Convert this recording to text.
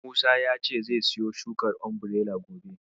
Musa ya ce zai siyo shukar Umbirela gobe.